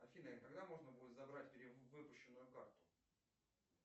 афина когда можно будет забрать перевыпущенную карту